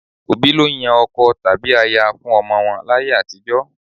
Òbí ló ń yan ọkọ tàbí aya fún ọmọ wọn láyé àtijọ́.